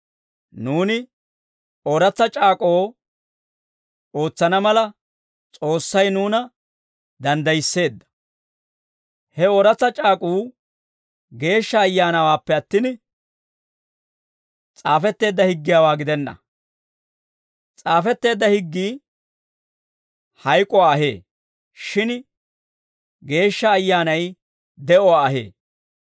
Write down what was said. Nuuni Ooratsa C'aak'k'oo ootsana mala, S'oossay nuuna danddayisseedda; he Ooratsa C'aak'uu Geeshsha Ayyaanawaappe attin, s'aafetteedda higgiyaawaa gidenna. S'aafetteedda higgii hayk'uwaa ahee; shin Geeshsha Ayyaanay de'uwaa ahee.